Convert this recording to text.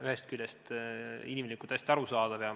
Ühest küljest on see inimlikult hästi arusaadav.